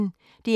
DR P1